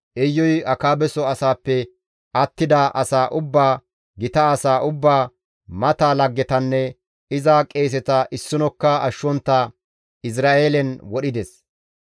Iyuy Akaabeso asaappe attida asaa ubbaa, gita asaa ubbaa, mata laggetanne iza qeeseta issinokka ashshontta Izra7eelen wodhides.